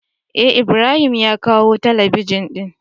Eh ibrahim ya kawo talabijin din.